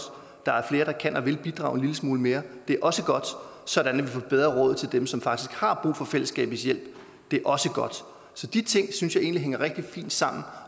der er flere der kan og vil bidrage en lille smule mere det er også godt sådan at vi får bedre råd til dem som faktisk har brug for fællesskabets hjælp det er også godt så de ting synes jeg egentlig hænger rigtig fint sammen